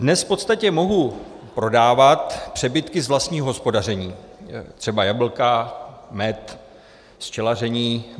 Dnes v podstatě mohu prodávat přebytky z vlastního hospodaření, třeba jablka, med z včelaření.